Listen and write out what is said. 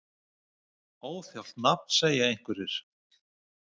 Óþjált nafn segja einhverjir?